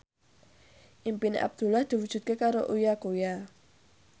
impine Abdullah diwujudke karo Uya Kuya